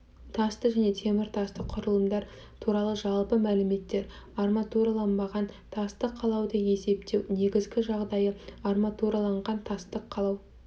тасты және теміртасты құрылымдар туралы жалпы мәліметтер арматураланбаған тастық қалауды есептеу негізгі жағдайы арматураланған тастық қалау